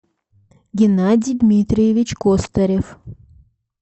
геннадий дмитриевич костарев